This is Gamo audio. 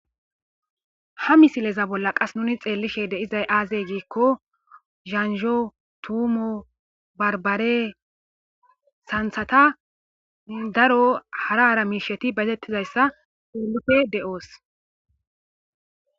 ha misileza bolla qas nuni xeellishe deizay aazey giikko zanjho tuumo barbare santhata daro haraara miisheti bazettizayssa peelufe de7oos